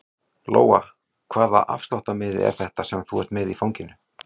Lóa: Hvaða afsláttarmiði er þetta sem þú ert með í fanginu?